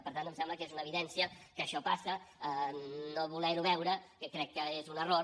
per tant em sembla que és una evidència que això passa no voler ho veure crec que és un error